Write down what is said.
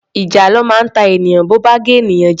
Ìjàlọ máa ń ta ènìyàn bo bá gé ènìyàn jẹ.